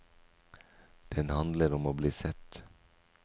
Den handler om å bli sett.